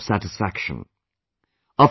That gave me a lot of satisfaction